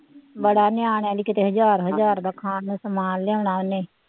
ਬੜਾ ਨਿਆਣਿਆਂ ਦੀ ਕਿਤੇ ਹਜ਼ਾਰ ਹਜ਼ਾਰ ਦਾ ਖਾਣ ਨੂੰ ਸਮਾਨ ਲਿਆਉਣਾ ਉਹਨੇ।